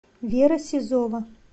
вера сизова